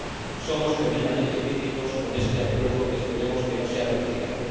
Por eso somos tremendamente críticos con este Acuerdo que esperemos que no sea ratificado.